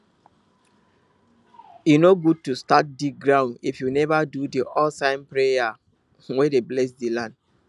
e no good to start dig ground if you never do the oldtime prayer wey dey bless the land